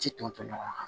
Ti tɔ ɲɔgɔn kan